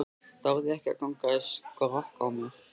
Þorði ekki að ganga í skrokk á mér.